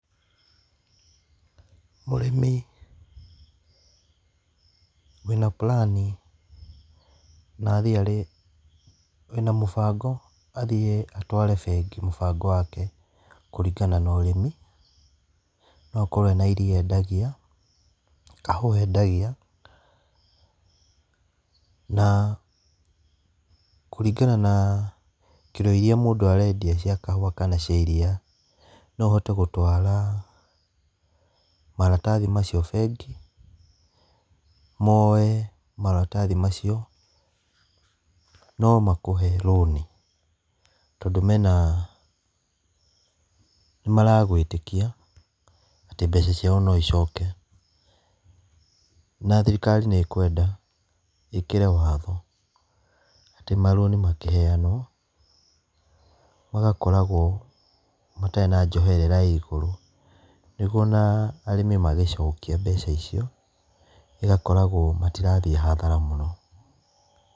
Mũrĩmi, wĩna plan na athiĩ arĩ, wĩna mũbango, athiĩ atware bengi mũbango wake kũringana na ũrĩmi, no akorwo ena iria endagia, kahũa endagia, na kũringana na kiro iria mũndũ arendia cia kahũa kana cia iria, no ũhote gũtwara maratathi macio bengi, moe maratathi macio, no makũhe roni, tondũ mena, nĩ maragwĩtĩkia atĩ mbeca ciao no icoke. Na thirikari nĩ ĩkwenda ĩkĩre watho atĩ maroni makĩheanwo, magakoragwo marĩ na njoherera ya igũrũ, nĩguo ona arĩmi magĩcokia mbeca icio, ĩgakoragwo matirathiĩ hathara mũno.